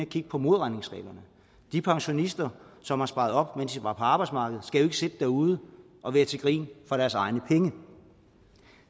kigge på modregningsreglerne de pensionister som har sparet op mens de var på arbejdsmarkedet skal jo ikke sidde derude og være til grin for deres egne penge